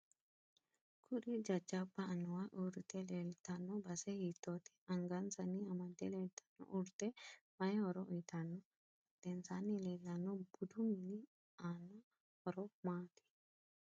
Kuri jajabbu anuwa uurite leeltanno base hiitoote anggansanni amade leelttanno urde mayi horo uyiitanno badhensaani leelanno budu mini aano horo maati